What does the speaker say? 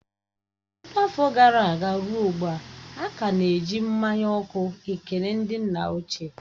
Ọtụtụ afọ gara aga ruo ugbu a, a ka na-eji mmanya ọkụ ekele ndị nna ochie